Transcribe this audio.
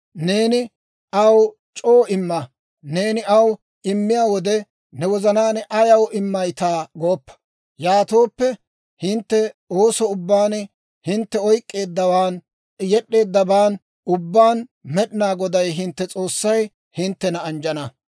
Neeni aw c'oo imma; neeni aw immiyaa wode, ne wozanaan ayaw immayttaa gooppa; yaatooppe, hintte ooso ubbaan, hintte oyk'k'eeddawaan yed'd'eeddaban ubbaan Med'inaa Goday hintte S'oossay hinttena anjjana.